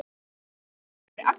Hvert á ég að fara með það?